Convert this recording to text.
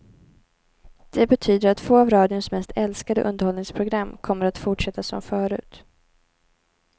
Det betyder att två av radions mest älskade underhållningsprogram kommer att fortsätta som förut.